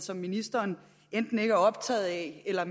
som ministeren enten ikke er optaget af eller